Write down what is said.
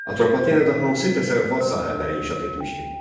Atropatenada hansı təsərrüfat sahələri inkişaf etmişdi?